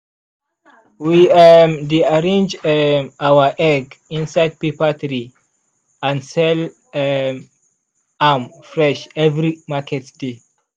we um dey arrange um our egg inside paper tray and sell um am fresh every market day.